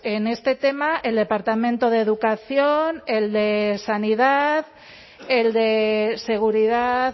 en este tema el departamento de educación el de sanidad el de seguridad